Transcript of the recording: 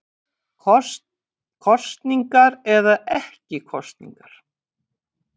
Kosningar eða ekki kosningar